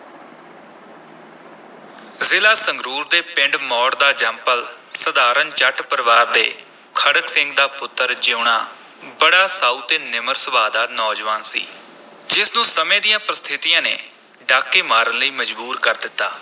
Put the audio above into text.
ਜ਼ਿਲ੍ਹਾ ਸੰਗਰੂਰ ਦੇ ਪਿੰਡ ਮੌੜ ਦਾ ਜੰਮਪਲ ਸਾਧਾਰਨ ਜੱਟ ਪਰਿਵਾਰ ਦੇ ਖੜਗ ਸਿੰਘ ਦਾ ਪੁੱਤਰ ਜੀਊਣਾ ਬੜਾ ਸਾਊ ਤੇ ਨਿਮਰ ਸੁਭਾਅ ਦਾ ਨੌਜਵਾਨ ਸੀ, ਜਿਸ ਨੂੰ ਸਮੇਂ ਦੀਆਂ ਪ੍ਰਸਥਿਤੀਆਂ ਨੇ ਡਾਕੇ ਮਾਰਨ ਲਈ ਮਜਬੂਰ ਕਰ ਦਿੱਤਾ।